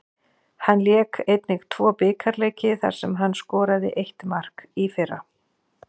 Hann lék einnig tvo bikarleiki þar sem hann skoraði eitt mark í fyrra.